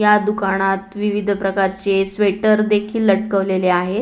या दुकानात विविध प्रकारचे स्वेटर देखील लटकवलेले आहेत.